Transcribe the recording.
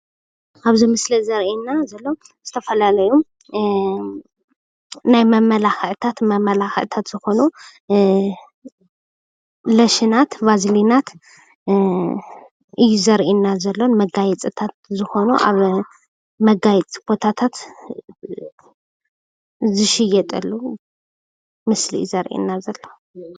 ኣብዚ ምስሊ ዘርእየና ዘሎ ዝተፈላለዩ ንናይ መመላኽዕታት መመላኽዕታት ዝኾኑ ሎሽናት፣ ቫዝሊናት እዩ ዘርእየና ዘሎ መጋየፅታት ዝኾኑ ኣብ መጋየፂ ቦታታት ዝሽየጠሉ ምስሊ እዩ ዘርእየና ዘሎ፡፡